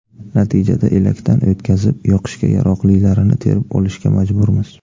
Natijada elakdan o‘tkazib, yoqishga yaroqlilarini terib olishga majburmiz.